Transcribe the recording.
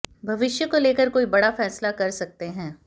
भविष्य को लेकर कोई बड़ा फैसला कर सकते हैं